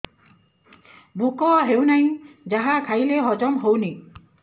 ଭୋକ ହେଉନାହିଁ ଯାହା ଖାଇଲେ ହଜମ ହଉନି